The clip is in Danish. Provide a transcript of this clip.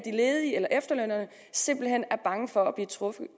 ledige eller efterlønnerne simpelt hen er bange for